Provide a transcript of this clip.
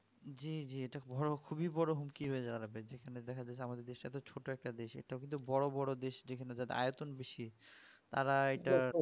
জী জী এটা বড় খুবই বড় হুমকি হয়ে যাবে যেখানে দেখা যাচ্ছে আমাদের দেশ টা তো ছোট একটা দেশ এটা কিন্তু আমাদের বড় বড় দেশ যেখানে যাদের আয়তন বেশি আড়াই